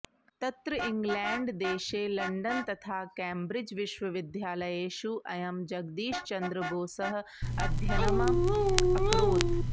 तत्र इङ्ग्लेण्ड्देशे लण्डन् तथा केम्ब्रिड्ज् विश्वविद्यालयेषु अयं जगदीशचन्द्रबोसः अध्ययनम् अकरोत्